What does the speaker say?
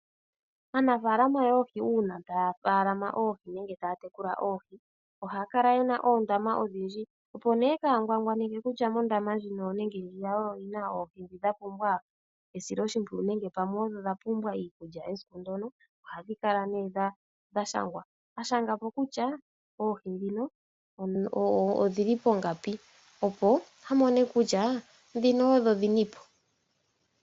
Aanafaalama yoohi uuna taya faalama oohi nenge taya tekula oohi, ohaya kala yena oondama odhindji . Opo kaya ngwangwaneke kutya mondama ndjino nenge ndjiya oyo yina oohi ndhi dhapumbwa esiloshimpwiyu nenge pamwe odho dha pumbwa iikulya esiku ndyono , oha dhi kala dha ndhindilikwa pamukalo gokushangwa kutya oohi ndhino odhili pongapi opo amone kutya ndhino odho dhinipo.